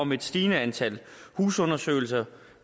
om et stigende antal husundersøgelser